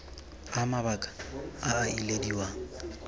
a mabaka a a ilediwang